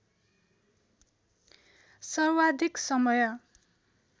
सर्वाधिक समय